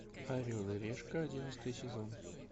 орел и решка одиннадцатый сезон